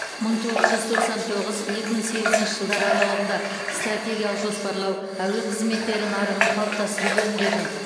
мың тоғыз жүз тоқсан тоғыз екі мың сегізінші жылдар аралығында стратегиялық жоспарлау әуе қызметтері нарығын қалыптастыру бөлімдерінің